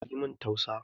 Yi min tausa